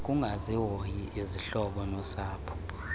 ukungazihoyi izihlobo nosapho